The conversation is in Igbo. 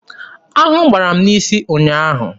Aṅụ gbara m n'isi ụnyaahụ.